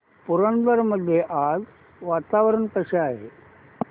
पुरंदर मध्ये आज वातावरण कसे आहे